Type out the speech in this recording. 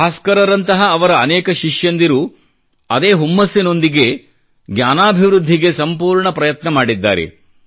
ಭಾಸ್ಕರರಂತಹ ಅವರ ಅನೇಕ ಶಿಷ್ಯಂದಿರು ಅದೇ ಹುಮ್ಮಸ್ಸಿನೊಂದಿಗೆ ಜ್ಞಾನಾಭಿವೃದ್ಧಿಗೆ ಸಂಪೂರ್ಣ ಪ್ರಯತ್ನ ಮಾಡಿದ್ದಾರೆ